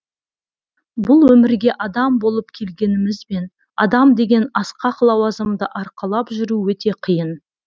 бұл өмірге адам болып келгенімізбен адам деген асқақ лауазымды арқалап жүру өте қиын